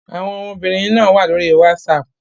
Àwọn ọmọbìnrin náà wà lórí WhatsApp.